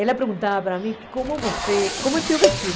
Ela perguntava para mim, como você, como é o seu vestido?